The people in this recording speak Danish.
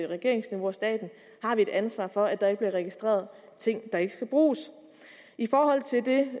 regeringsniveau og staten har vi et ansvar for at der ikke bliver registreret ting der ikke skal bruges i forhold til det